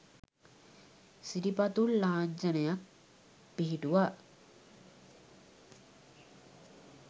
සිරිපතුල් ලාංඡනයක් පිහිටුවා